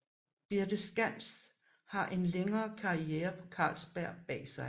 Birthe Skands har en længere karriere på Carlsberg bag sig